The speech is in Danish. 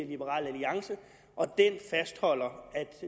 liberal alliance og den fastholder